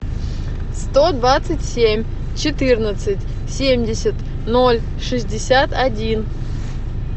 сто двадцать семь четырнадцать семьдесят ноль шестьдесят один